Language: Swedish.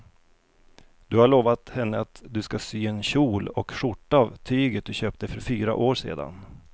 Du har lovat henne att du ska sy en kjol och skjorta av tyget du köpte för fyra år sedan.